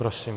Prosím.